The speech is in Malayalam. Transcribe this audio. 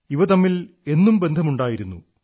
ഇവ തമ്മിൽ എന്നും ബന്ധം ഉണ്ടായിരുന്നു